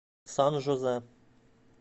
сан жозе